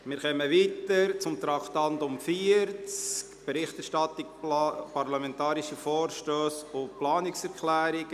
Wir kommen nun zu Traktandum 40, «Berichterstattung parlamentarische Vorstösse und Planungserklärungen».